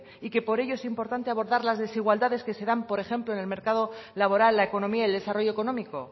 y que por ello es importante abordar las desigualdades que se dan por ejemplo en el mercado laboral la economía y el desarrollo económico